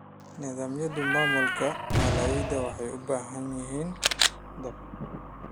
Nidaamyada maamulka maaliyadeed waxay u baahan yihiin daahfurnaan.